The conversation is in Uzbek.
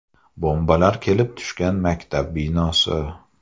Bombalar kelib tushgan maktab binosi.